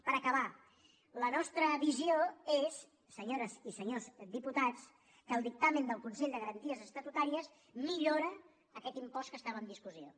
per acabar la nostra visió és senyores i senyors diputats que el dictamen del consell de garanties estatutàries millora aquest impost que estava en discussió